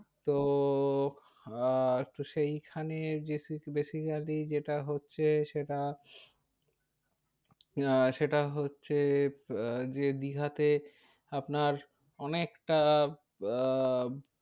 তো আর তো সেই খানে basically যেটা হচ্ছে সেটা আহ সেটা হচ্ছে আহ যে দীঘাতে আপনার অনেকটা আহ